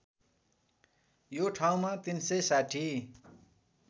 यो ठाउँमा ३६०